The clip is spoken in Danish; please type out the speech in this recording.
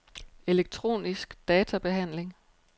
elektronisk databehandling